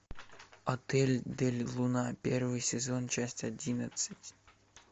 отель дель луна первый сезон часть одиннадцать